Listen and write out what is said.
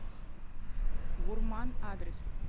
гурман адрес